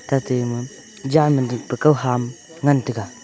atai jan jing pe kan ham ngan taiga.